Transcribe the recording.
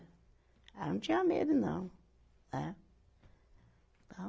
Ela não tinha medo não, né?